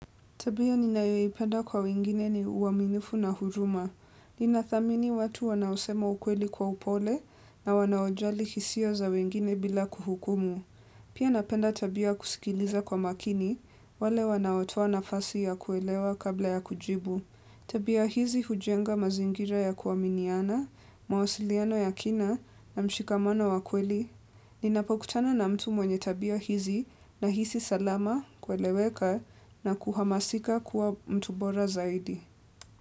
Tabia ninayoipenda kwa wengine ni uaminifu na huruma ninathamini watu wanaosema ukweli kwa upole na wanaojali hisia za wengine bila kuhukumu pia napenda tabia ya kusikiliza kwa makini wale wanaotoa nafasi ya kuelewa kabla ya kujibu tabia hizi hujenga mazingira ya kuaminiana mawasiliano ya kina na mshikamano wa kweli ninapokutana na mtu mwenye tabia hizi nahisi salama kueleweka na kuhamasika kuwa mtu bora zaidi.